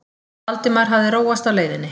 Valdimar hafði róast á leiðinni.